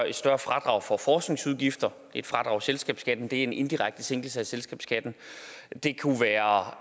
et større fradrag for forskningsudgifter et fradrag i selskabsskatten er en indirekte sænkelse af selskabsskatten det kunne være